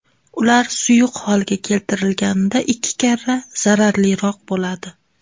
Ular suyuq holga keltirilganida ikki karra zararliroq bo‘ladi.